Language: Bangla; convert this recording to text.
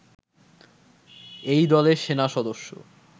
এই দলে সেনা সদস্য